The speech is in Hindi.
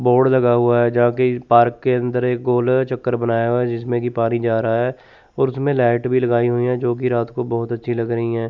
बोर्ड लगा हुआ है जहां की पार्क के अंदर एक गोल चक्कर बनाया हुआ है जिसमें की पारी जा रहा है और उसमें लाइट भी लगाई हुई है जो की रात को बहुत अच्छी लग रही हैं।